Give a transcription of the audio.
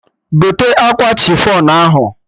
Gote akwa chifọn ahụ!